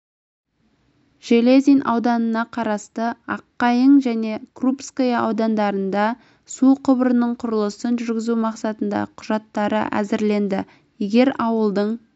железин ауданына қарасты аққайың және крупское ауылдарында су құбырының құрылысын жүргізу мақсатында құжаттары әзірленді егер аулдың